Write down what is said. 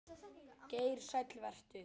Geir Sæll vertu.